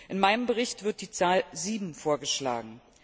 In meinem Bericht wird die Zahl 7 vorgeschlagen.